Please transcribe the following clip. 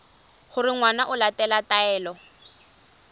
gore ngwana o latela taelo